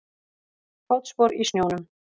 Fótspor í snjónum.